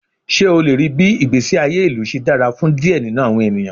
Ṣe o le rii bii igbesi aye ilu ṣe dara fun diẹ ninu awọn eniyan?